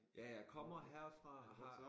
Ja jeg kommer herfra og har